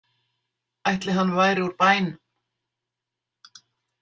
Ætli hann væri úr bænum?